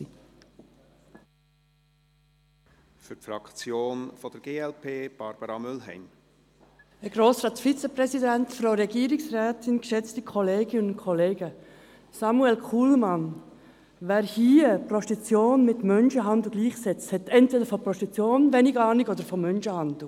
Samuel Kullmann, wer hier Prostitution mit Menschenhandel gleichsetzt, hat entweder von Prostitution wenig Ahnung oder von Menschenhandel.